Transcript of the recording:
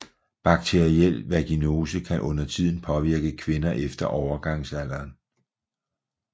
Bakteriel vaginose kan undertiden påvirke kvinder efter overgangsalderen